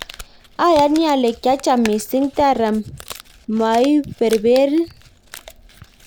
ayani ale kiicham mising' tara maiberberin